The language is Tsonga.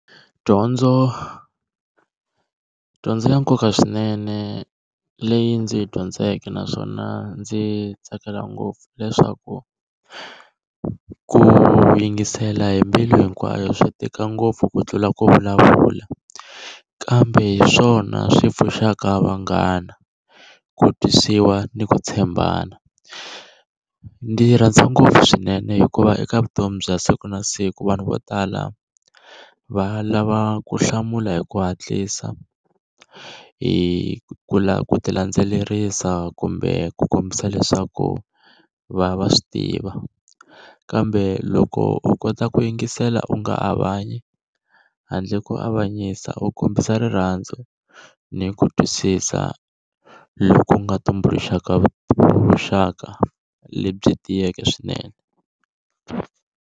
Dyondzo dyondzo ya nkoka swinene leyi ndzi yi dyondzeke naswona ndzi tsakela ngopfu leswaku ku yingisela hi mbilu hinkwayo swi tika ngopfu ku tlula ku vulavula kambe hi swona swi pfuxaka vanghana ku twisiwa ni ku tshembana, ndzi rhandza ngopfu swinene hikuva eka vutomi bya siku na siku vanhu vo tala va lava ku hlamula hi ku hatlisa hi ku lava ku ti landzelerisa kumbe ku kombisa leswaku va va swi tiva kambe loko u kota ku yingisela u nga avanyi handle ko avanyisa u kombisa rirhandzu ni ku twisisa loku nga tumbuluxaka vuxaka lebyi tiyeke swinene.